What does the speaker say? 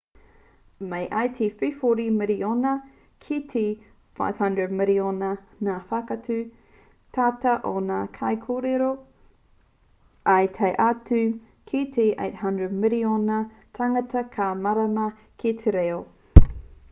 mai i te 340 miriona ki te 500 miriona ngā whakatau tata o ngā kaikōrero ā tae atu ki te 800 miriona tāngata ka mārama ki te reo